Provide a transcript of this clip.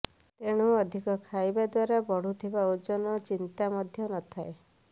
ତେଣୁ ଅଧିକ ଖାଇବା ଦ୍ୱାରା ବଢ଼ୁଥିବ ଓଜନ ଚିନ୍ତା ମଧ୍ୟ ନଥାଏ